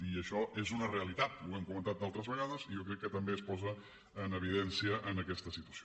i això és una realitat ho hem comentat altres vegades i jo crec que també es posa en evidència en aquesta situació